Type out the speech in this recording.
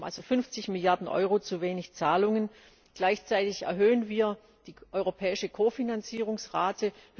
Wir haben also 50 Milliarden Euro zu wenig Zahlungen, gleichzeitig erhöhen wir die europäische Kofinanzierungsrate.